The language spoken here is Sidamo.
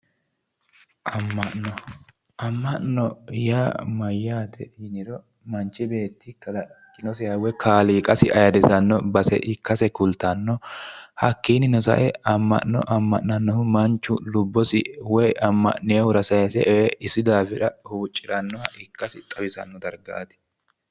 Ama'no, ama'no yaa mayaate yiniro manchi beetti kalaqinosiha woy kaaliqasi ayiirisanno base ikkase kultanno. hakiininno sa'e ama'no ama'nanohu manchu lubbosi woy ama'ninohura sayiise ee isi daafira huuciranoha ikkasi xawisanno dargaati.